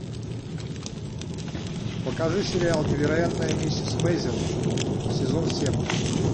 покажи сериал невероятная миссис мейзел сезон семь